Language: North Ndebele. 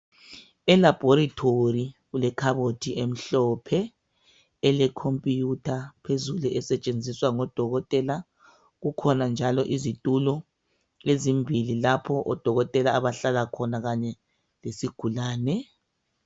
Elabhorethori kulekhabothi emhlophe kukhona elekhumpuyutha phezulu esetshenziswa ngodokotela kukhona njalo izitulo ezimbili lapho odokotela abahlala khona kanye lesigulane.